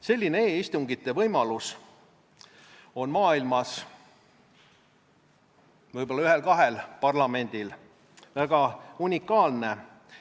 Selline e-istungite pidamise võimalus on maailmas võib-olla ühel-kahel parlamendil – väga unikaalne!